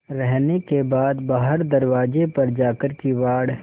रहने के बाद बाहर दरवाजे पर जाकर किवाड़